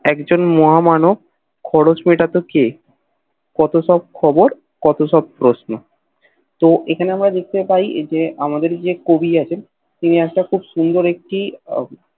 একজন মহা মানব খরচ মেটাতো কে কত সব খবর কত সব প্রশ্ন তো এখানে আমরা দেখতে পায় যে আমাদের যে কবি আছেন তিনি একটা খুব সুন্দর একটি